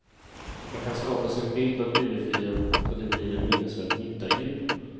Man kan skapa sig en bild av julefriden så att det blir en minnesvärd njutarjul.